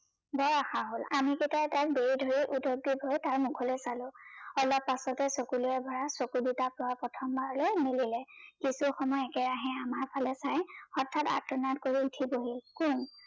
বৰ আশা হল আমি কেইতাই তাক বেৰি ধৰি তাৰ মোখলৈ চালো, অলপ পাছতেই চকুলোৰে ভৰা চকু দুটা প্ৰয়ে প্ৰথমবাৰলৈ মেলিলে কিছু সময় একেৰাহে আমাৰ ফালে চাই হঠাৎ আৰ্তনাট কৰি উঠি বহিল কোন